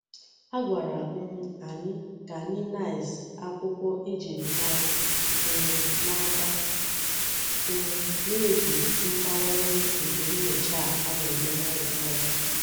A gwara um anyi ka anyi nice akwukwo ejiri mara um n'aka um n'ihi mbawanye nke nyocha a na-eme n'uloru.